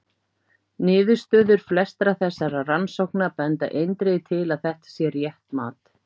Niðurstöður flestra þessara rannsókna benda eindregið til að þetta sé rétt mat.